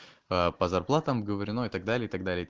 паа по зарплатам оговорено и так далее и так далее